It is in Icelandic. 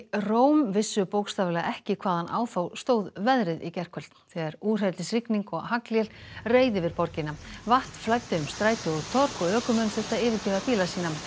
Róm vissu bókstaflega ekki hvaðan á þá stóð veðrið í gærkvöld þegar úrhellisrigning og haglél reið yfir borgina vatn flæddi um stræti og torg og ökumenn þurftu að yfirgefa bíla sína